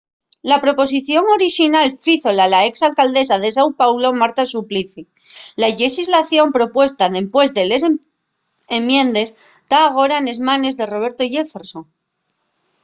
la proposición orixinal fízola la ex alcaldesa de sao paulo marta suplicy la llexislación propuesta dempués de les enmiendes ta agora nes manes de roberto jefferson